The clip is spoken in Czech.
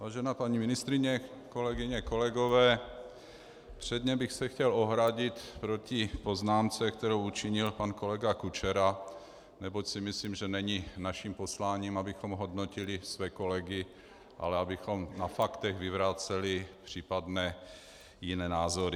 Vážená paní ministryně, kolegyně, kolegové, předně bych se chtěl ohradit proti poznámce, kterou učinil pan kolega Kučera, neboť si myslím, že není naším posláním, abychom hodnotili své kolegy, ale abychom na faktech vyvraceli případné jiné názory.